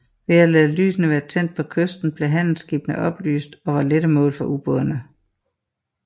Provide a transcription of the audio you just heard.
Ved at lade lysene være tændt på kysten blev handelsskibene oplyst og var lette mål for ubådene